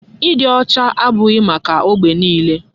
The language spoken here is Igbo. Ịdị ọcha abụghị maka ógbè niile.